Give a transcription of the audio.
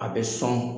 A bɛ sɔn